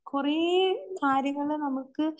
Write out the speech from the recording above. കൊറേ കാര്യങ്ങള് നമുക്ക്